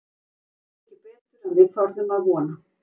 Þetta hefur gengið betur en við þorðum að vona.